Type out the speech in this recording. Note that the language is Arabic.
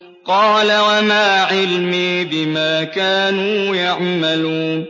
قَالَ وَمَا عِلْمِي بِمَا كَانُوا يَعْمَلُونَ